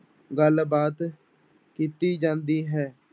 ਗੱਲਬਾਤ ਕੀਤੀ ਜਾਂਦੀ ਹੈ।